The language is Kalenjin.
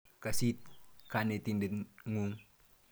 Kas it kanetindet ng'ung'.